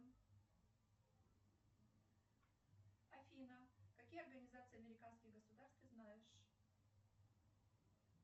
афина какие организации американских государств ты знаешь